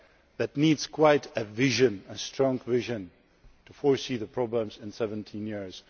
That needs quite a vision, a strong vision to foresee the problems in 17 years.